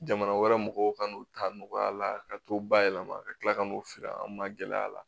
Jamana wɛrɛ mɔgɔw kan n'u ta nɔgɔya la ka t'o bayɛlɛma ka tila ka n'o feere an ma gɛlɛya la